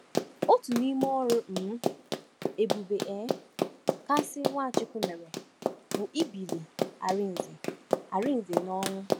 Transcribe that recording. Otu n’ime ọrụ um ebube um kasịnụ Nwachukwu mere bụ ibili Arinze Arinze n’ọnwụ.